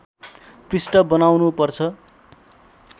पृष्ठ बनाउनु पर्छ